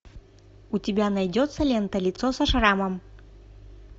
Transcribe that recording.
у тебя найдется лента лицо со шрамом